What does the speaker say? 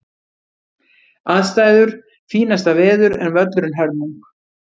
Aðstæður: Fínasta veður en völlurinn hörmung.